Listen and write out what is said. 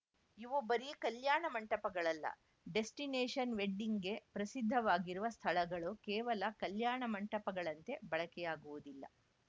ಇವು ಬರೀ ಕಲ್ಯಾಣ ಮಂಟಪಗಳಲ್ಲ ಡೆಸ್ಟಿನೇಶನ್‌ ವೆಡ್ಡಿಂಗ್‌ಗೆ ಪ್ರಸಿದ್ಧವಾಗಿರುವ ಸ್ಥಳಗಳು ಕೇವಲ ಕಲ್ಯಾಣ ಮಂಟಪಗಳಂತೆ ಬಳಕೆಯಾಗುವುದಿಲ್ಲ